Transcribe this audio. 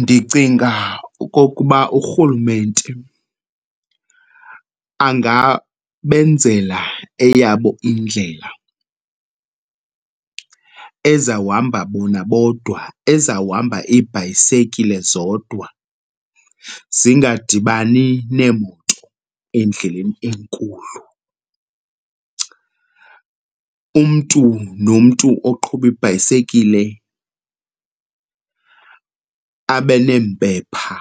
Ndicinga okokuba uRhulumente angabenzela eyabo indlela ezawuhamba bona bodwa, ezawuhamba iibhayisekile zodwa zingadibani neemoto endleleni enkulu. Umntu nomntu oqhuba ibhayisekile abe neempepha,